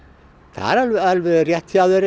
það er alveg rétt hjá þér